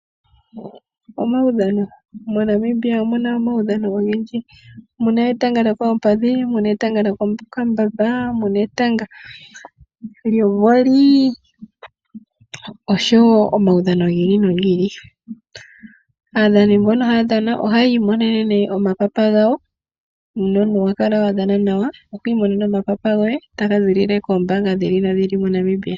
Omaudhano MoNamibia omu na omaudhano ogendji. Mu na etanga lyokoompadhi , etanga lyomokambamba osho wo omaudhano gi ili nogi ili. Aadhani mbono haya dhana ohaya imonene nduno omapapa gawo. Uuna omuntu wa dhana nawa oho imonene omapapa goye taga ziilile koombaanga dhi ili nodhi ili moNamibia.